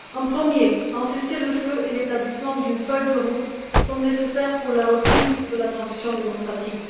Premièrement, un cessez le feu et l'établissement d'une feuille de route sont nécessaires pour la reprise de la transition démocratique.